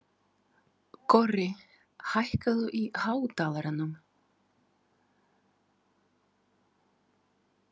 Korri, hækkaðu í hátalaranum.